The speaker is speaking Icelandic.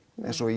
eins og